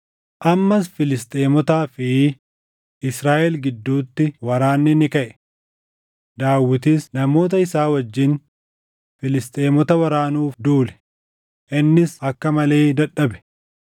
Ammas Filisxeemotaa fi Israaʼel gidduutti waraanni ni kaʼe. Daawitis namoota isaa wajjin Filisxeemota waraanuuf duule; innis akka malee dadhabe.